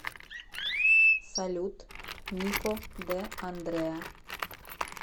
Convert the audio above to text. салют нико дэ андрэа